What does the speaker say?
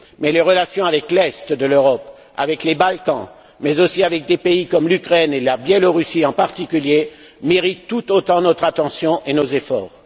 Les relations avec l'est de l'Europe, avec les Balkans, mais aussi avec des pays comme l'Ukraine et la Biélorussie, en particulier, méritent tout autant notre attention et nos efforts.